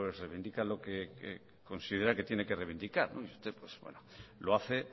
reivindica lo que considera que tiene que reivindicar y usted lo hace